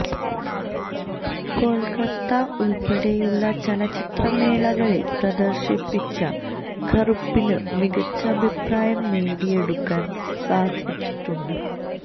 കൊൽക്കത്ത ഉൾപെടെയുളള ചലച്ചിത്ര മേളകളിൽ പ്രദർശിപ്പിച്ച കറുപ്പിന് മികച്ച അഭിപ്രായം നേടിയെടുക്കാൻ സാധിച്ചിട്ടുണ്ട്